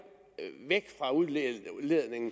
væk fra udledningen